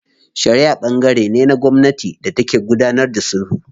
Shariʼa ɓangare ne na gwamnati da take gudanar da sulhu.